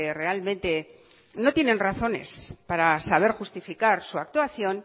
realmente no tienen razones para saber justificar su actuación